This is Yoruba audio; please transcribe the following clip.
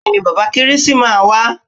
Bẹ́ẹ̀ni bàbà kérésì máa wá.